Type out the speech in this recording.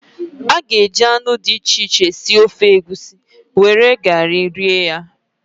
A ga-eji anụ dị iche iche sie ofe Egusi were were eba were were sie ya.